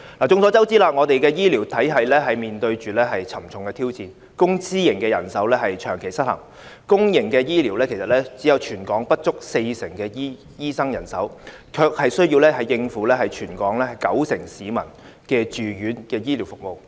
眾所周知，我們的醫療體系面對沉重的挑戰，公私營人手長期失衡，公營醫療系統只有全港不足四成的醫生人手，卻需要應付全港九成市民的住院醫療服務。